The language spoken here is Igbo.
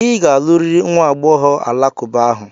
Ị ga-alụrịrị nwa agbọghọ alakụba ahụ!